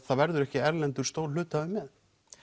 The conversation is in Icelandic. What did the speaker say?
það verður ekki erlendur stór hluthafi með